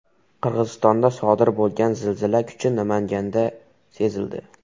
Qirg‘izistonda sodir bo‘lgan zilzila kuchi Namanganda sezildi.